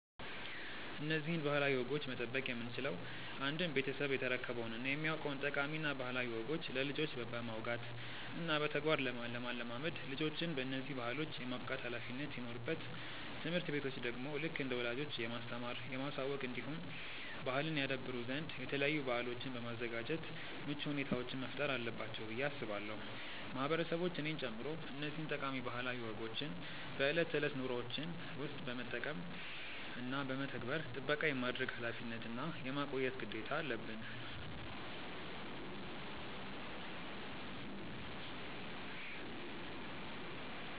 እነዚህን ባህላዊ ወጎች መጠበቅ የምንችለው አንድም ቤተሰብ የተረከበውን እና የሚያውቀውን ጠቃሚ እና ባህላዊ ወጎች ለልጆች በማውጋት እና በተግባር ለማለማመድ ልጆችን በነዚህ ባህሎች የማብቃት ኃላፊነት ሲኖርበት ትምህርት ቤቶች ደግሞ ልክ እንደ ወላጆች የማስተማር፣ የማሳወቅ እንዲሁም ባህልን ያደብሩ ዘንድ የተለያዩ በአሎችን በማዘጋጃት ምቹ ሁኔታዎችን መፍጠር አለባቸው ብዬ አስባለው። ማህበረሰቦች እኔን ጨምሮ እነዚህን ጠቃሚ ባህላዊ ወጎችን በእለት ተእለት ኑሮዎችን ውስጥ በመጠቀም እና በመተግበር ጥበቃ የማድረግ ኃላፊነት እና የማቆየት ግዴታ አለበን።